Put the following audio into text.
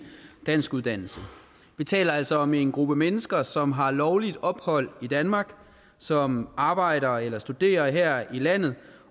danskuddannelse vi taler altså om en gruppe mennesker som har lovligt ophold i danmark som arbejder eller studerer her i landet